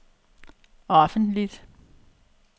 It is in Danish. offentligt